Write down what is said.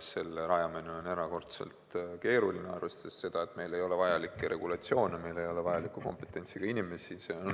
Selle rajamine on erakordselt keeruline, arvestades seda, et meil ei ole vajalikke regulatsioone, meil ei ole vajaliku kompetentsiga inimesi, see on